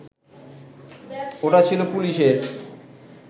ওটা ছিল পুলিশের